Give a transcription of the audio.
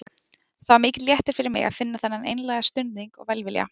Það var mikill léttir fyrir mig að finna þennan einlæga stuðning og velvilja.